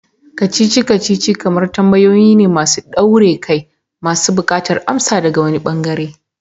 Kacici-kacici kamar tambayoyi ne masu daure kai masu bukatar amsa daga wani ɓangare.